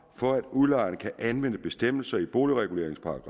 for at udlejeren kan anvende bestemmelserne i boligreguleringslovens